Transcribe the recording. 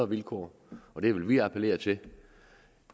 vilkår og det vil vi appellere til